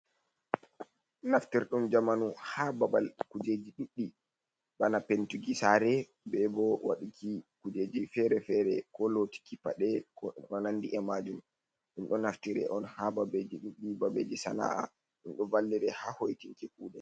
Naftirdum jamanu ha babal kujeji ɗuɗdi bana pentugi saare be bo waduki kujeji fere-fere, ko lotiki paɗe ko nandi e majum, ɗum ɗo naftireon ha babeji ɗuɗdi babeji sana’a ɗum ɗo vallire ha hoitinki kuɗe.